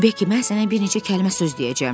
Bekki mən sənə bir neçə kəlmə söz deyəcəm.